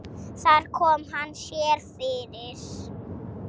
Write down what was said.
Þar kom hann sér fyrir.